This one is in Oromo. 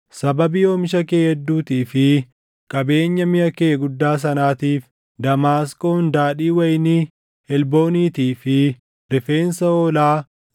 “ ‘Sababii oomisha kee hedduutii fi qabeenya miʼa kee guddaa sanaatiif Damaasqoon daadhii wayinii Helbooniitii fi rifeensa hoolaa